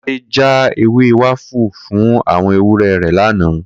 Kó̩ládé já ewé wafa fún àwo̩n ewúré̩ rè̩ lánàá